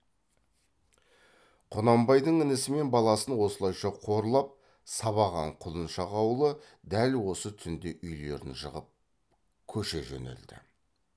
құнанбайдың інісі мен баласын осылайша қорлап сабаған құлыншақ ауылы дәл осы түнде үйлерін жығып көше жөнелді